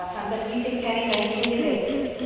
Der Fantasie sind keine Grenzen gesetzt.